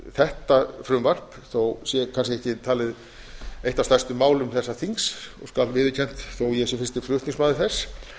þetta frumvarp þó sé kannski ekki talið eitt af stærstu málum þessa þings skal viðurkennt þó ég sé fyrsti flutningsmaður þess